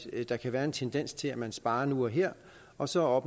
der kan være en tendens til at man sparer nu og her og så